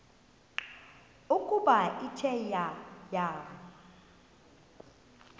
ukuba ithe yaya